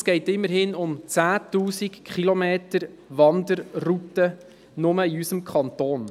Immerhin geht es um 10 000 Kilometer an Wanderrouten, ausschliesslich in unserem Kanton.